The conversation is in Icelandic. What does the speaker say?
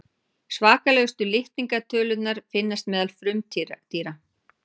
svakalegustu litningatölurnar finnast meðal frumdýra